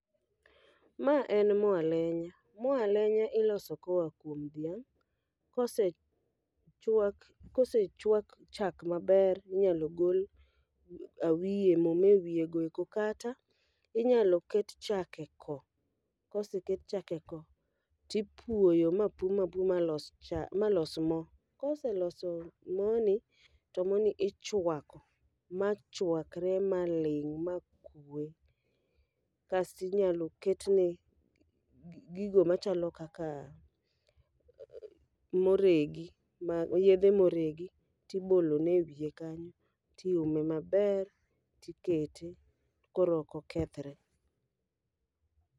Ma en mo alenya, mo alenya iloso koa kuom dhiang'. Kose chwak kose chwak chak maber minyalo gol awiye, mo ma wiye go eko. Kata, inyalo ket chak e ko, koseket chak e ko, tipuoyo ma puo ma puo ma los mo. Koseloso mo ni, to moni ichwako ma chwakre ma ling' ma kwe. Kastinyalo ketne gigo machalo kaka moregi, ma yedhe moregi tibolone e wiye kanyo. Tiume maber, tikete koro oko kethre.